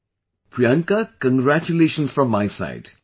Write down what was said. Well, Priyanka, congratulations from my side